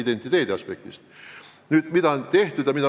Nüüd, mida on tehtud ja mida võiks teha?